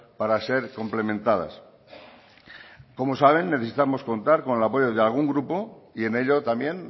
para ser complementadas como saben necesitamos contar con el apoyo de algún grupo y en ello también